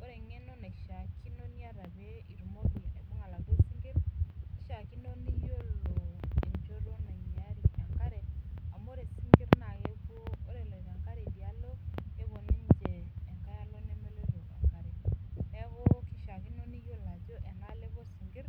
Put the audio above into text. ore engeno naishaakino pilo aibung sinkir nakishaakino niyolonencho nainyaari enkare amu ore sinkir eloito enkare idialo nepuo ninche idialo nemelouto enkare neaku kishaakino piyolo ajo enaalo epito sinkir